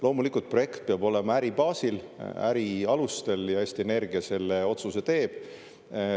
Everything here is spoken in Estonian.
Loomulikult, projekt peab olema äri baasil, äri alustel, ja Eesti Energia selle otsuse teeb.